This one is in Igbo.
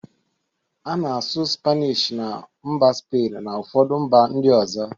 A na-asụ spanishi na mba spain na ụfọdụ mba ndị ọzọ.